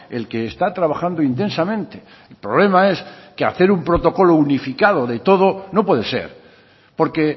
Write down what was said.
el que está trabajando intensamente el problema es que hacer un protocolo unificado de todo no puede ser porque